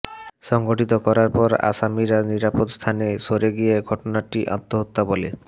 সংঘটিত করার পর আসামিরা নিরাপদ স্থানে সরে গিয়ে ঘটনাটি আত্মহত্যা বলে